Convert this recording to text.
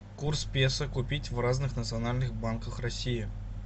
курс песо купить в разных национальных банках россии